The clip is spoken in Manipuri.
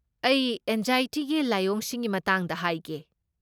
ꯑꯩ ꯑꯦꯟꯖꯥꯏꯇꯤꯒꯤ ꯂꯥꯏꯑꯣꯡꯁꯤꯡꯒꯤ ꯃꯇꯥꯡꯗ ꯍꯥꯏꯒꯦ꯫